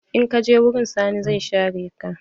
In kaje wurin Sani zai share ka.